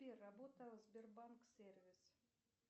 сбер работа сбербанк сервис